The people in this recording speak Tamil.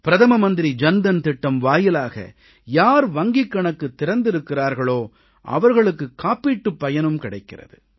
பிரதம மந்திரி ஜன் தன் திட்டம் வாயிலாக யார் வங்கிக் கணக்கு திறந்திருக்கிறார்களோ அவர்களுக்கு காப்பீட்டுப் பயனும் கிடைக்கிறது